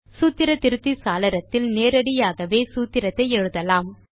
சூத்திர திருத்தி சாளரத்தில் நேரடியாகவே சூத்திரத்தை எழுதலாம்